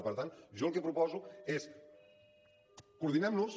i per tant jo el que proposo és coordinem nos